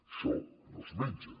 això no es menja